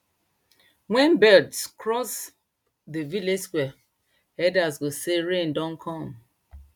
wen birds cross dey village square elders go say rain don come